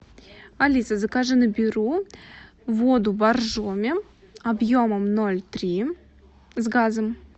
алиса закажи на беру воду боржоми объемом ноль три с газом